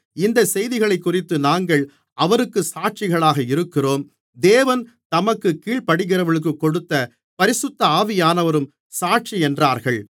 இந்தச் செய்திகளைக்குறித்து நாங்கள் அவருக்குச் சாட்சிகளாக இருக்கிறோம் தேவன் தமக்குக் கீழ்ப்படிகிறவர்களுக்குக் கொடுத்த பரிசுத்த ஆவியானவரும் சாட்சி என்றார்கள்